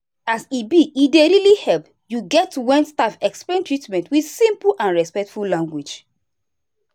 as e be e dey really help you get when staff explain treatment with simple and respectful language.